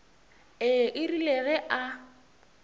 ee e rile ge a